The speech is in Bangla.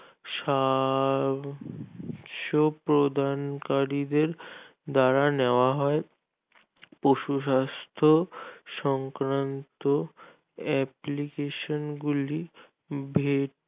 স্বাস্থ্য প্রদানকারীদের দ্বারা নেওয়া হয় পশুস্বাস্থ সংক্রান্ত application গুলি